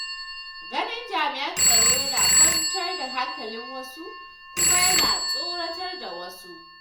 Ganin jami'an tsaro yana kwantar da hankalin wasu kuma yana tsoratar da wasu.